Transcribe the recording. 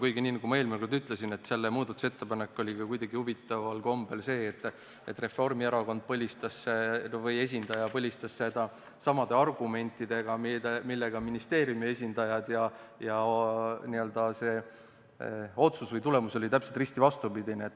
Kuigi, nagu ma eelmine kord ütlesin, selle muudatusettepanek oli ka kuidagi huvitaval kombel nii, et Reformierakonna esindaja põlistas seda samade argumentidega millega ministeeriumi esindajad, aga see otsus või tulemus oli täpselt risti vastupidine.